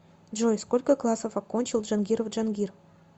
джой сколько классов окончил джангиров джангир